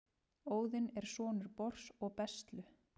óðinn er sonur bors og bestlu